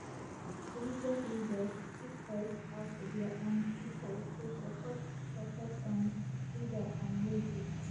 religious leaders fit voice out dia um pipol to support support um leader um wey good